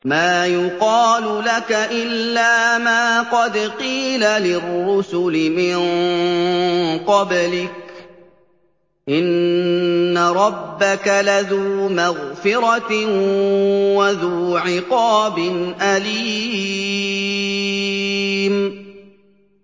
مَّا يُقَالُ لَكَ إِلَّا مَا قَدْ قِيلَ لِلرُّسُلِ مِن قَبْلِكَ ۚ إِنَّ رَبَّكَ لَذُو مَغْفِرَةٍ وَذُو عِقَابٍ أَلِيمٍ